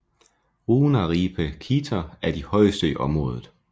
Ruunaraipe Klitter er de højeste i området